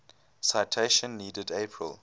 citation needed april